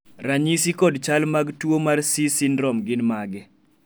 ranyisi kod chal mag tuo mar C syndrome gin mage?